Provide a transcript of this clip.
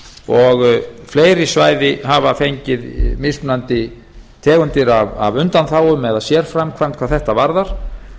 og fleiri svæði hafa fengið mismunandi tegundir af undanþágum eða sérframkvæmd hvað þetta varðar